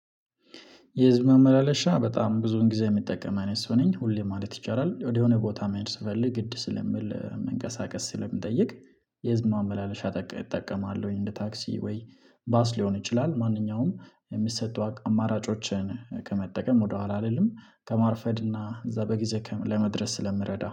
የህዝብ ማመላለሻ በጣም ብዙ ጊዜ የምጠቀም አይነት ሰው ነኝ ሁሌ ማለት ይቻላል ወደሆነ ቦታ መሄድ ስፈልግ ግድ ስለሚል መንገሳቀስ ስለሚጠይቅ። የህዝብ ማመላለሻ እጠቀማለሁኝ እንደ ታክሲ ወይ ባስ ሊሆን ይችላል። ማንኛውም የሚሰጡ አማራጮችን ከመጠቀም ወደኋላ አይደለም ከማርፈድ እና እዛ በጊዜ ለመድረስ ስለምረዳው